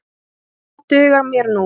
Það dugar mér nú.